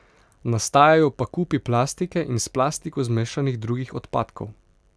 Nastajajo pa kupi plastike in s plastiko zmešanih drugih odpadkov.